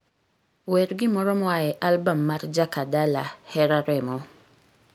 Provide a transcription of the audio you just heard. wer gimoro moa e album mar jakadala hera remo